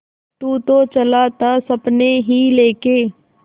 तू तो चला था सपने ही लेके